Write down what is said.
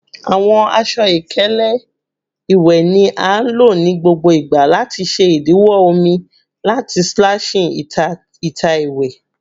Awọn aṣọ-ikele iwẹ ni a lo nigbagbogbo lati ṣe idiwọ omi lati splashing ita ita iwẹ